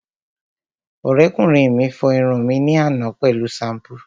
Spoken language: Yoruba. Ọ̀rẹ́kùnrin mi fọ irun mi ní àná pẹ̀lú ṣampú